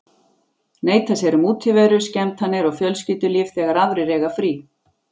Neita sér um útiveru, skemmtanir og fjölskyldulíf þegar aðrir eiga frí.